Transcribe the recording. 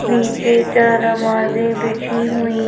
नीचे चार नमाजें बिजी हुई।